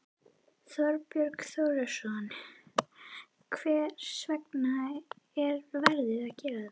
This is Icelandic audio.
Þorbjörn Þórðarson: Hvers vegna er verið að gera þetta?